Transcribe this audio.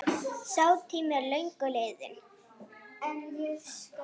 Sá tími er löngu liðinn.